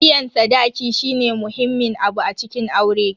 Biyan sadaki shine muhimmin abu a cikin aure.